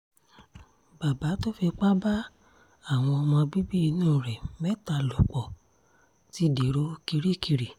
bàbá tó fipá bá àwọn ọmọ bíbí inú ẹ̀ mẹ́ta lò pọ̀ ti dèrò kirikiri